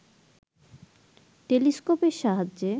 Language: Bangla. টেলিস্কোপের সাহায্যে